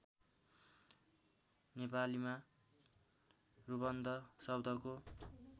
नेपालीमा रुबन्ध शब्दको